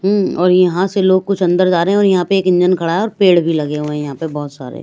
हूं और यहां से लोग कुछ अंदर जा रहे हैं और यहां पे एक इंजन खड़ा है और पेड़ भी लगे हुए हैं यहां पे बहोत सारे।